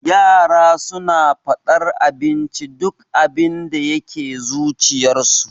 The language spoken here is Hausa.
Yara suna faɗar abinda duk abinda yake zuciyarsu.